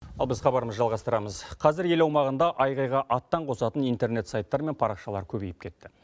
ал біз хабарымызды жалғастырамыз қазір ел аумағында айғайға аттан қосатын интернет сайттар мен парақшалар көбейіп кетті